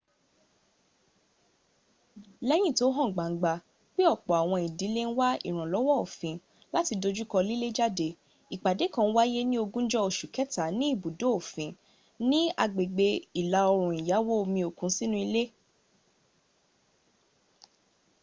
lẹ́yìn tó hàn gbangba pé ọ̀pọ̀ àwọn ìdílé ń wá ìrànlọ́wọ́ òfin láti dojúkọ lílé jáde ìpàdé kàn wáyé ní ogúnjọ́ oṣù kẹta ní ibùdó òfin ni agbègbè ìlà-òòrùn ìyáwó omi òkun sínú ilé